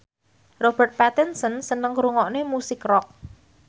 Robert Pattinson seneng ngrungokne musik rock